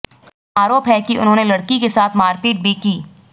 आरोप है कि उन्होंने लड़की के साथ मारपीट भी की